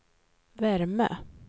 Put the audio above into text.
värme